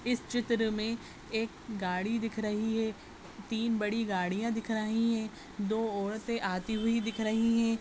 इस चित्र में एक गाड़ी दिख रही है। तीन बड़ी गाड़ियां दिख रही हैं। दो औरतें आती हुई दिख रही हैं।